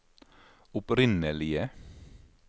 opprinnelige